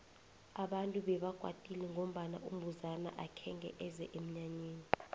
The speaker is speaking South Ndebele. abantu bebakwatile ngombana umbuzana akhenge eze emnyanyeni